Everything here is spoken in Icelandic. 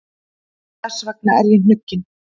Þess vegna er ég hnugginn.